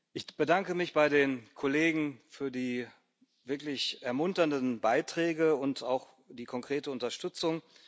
Ich bedanke mich bei den Kollegen für die wirklich ermunternden Beiträge und auch die konkrete Unterstützung.